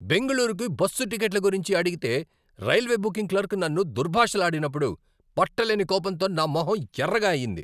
బెంగళూరుకు బస్సు టిక్కెట్ల గురించి అడిగితే రైల్వే బుకింగ్ క్లర్క్ నన్ను దుర్భాషలాడినప్పుడు పట్టలేని కోపంతో నా మొహం ఎర్రగా అయింది.